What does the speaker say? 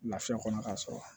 Lafiya kɔnɔ ka sɔrɔ